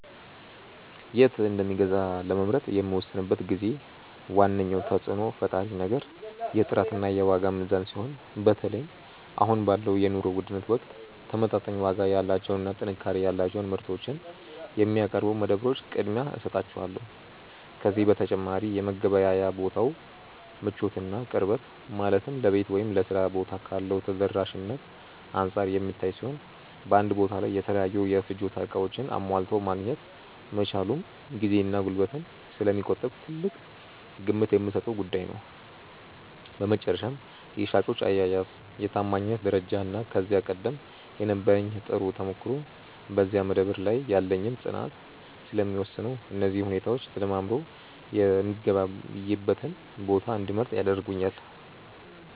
የት እንደምገዛ ለመምረጥ በምወስንበት ጊዜ ዋነኛው ተጽዕኖ ፈጣሪ ነገር የጥራትና የዋጋ ሚዛን ሲሆን፣ በተለይም አሁን ባለው የኑሮ ውድነት ወቅት ተመጣጣኝ ዋጋ ያላቸውንና ጥንካሬ ያላቸውን ምርቶች የሚያቀርቡ መደብሮች ቅድሚያ እሰጣቸዋለሁ። ከዚህ በተጨማሪ የመገበያያ ቦታው ምቾትና ቅርበት፣ ማለትም ለቤት ወይም ለሥራ ቦታ ካለው ተደራሽነት አንጻር የሚታይ ሲሆን፣ በአንድ ቦታ ላይ የተለያዩ የፍጆታ ዕቃዎችን አሟልቶ ማግኘት መቻሉም ጊዜንና ጉልበትን ስለሚቆጥብ ትልቅ ግምት የምሰጠው ጉዳይ ነው። በመጨረሻም የሻጮች አያያዝ፣ የታማኝነት ደረጃና ከዚህ ቀደም የነበረኝ ጥሩ ተሞክሮ በዚያ መደብር ላይ ያለኝን ፅናት ስለሚወስነው፣ እነዚህ ሁኔታዎች ተደማምረው የምገበያይበትን ቦታ እንድመርጥ ያደርጉኛል።